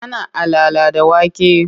Ana alala da wake.